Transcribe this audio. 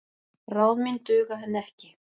Ráð mín duga henni ekki.